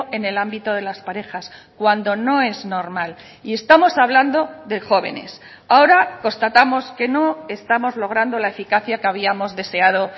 en el ámbito de las parejas cuando no es normal y estamos hablando de jóvenes ahora constatamos que no estamos logrando la eficacia que habíamos deseado